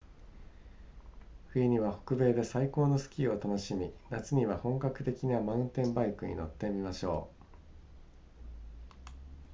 冬には北米で最高のスキーを楽しみ夏には本格的なマウンテンバイクに乗ってみましょう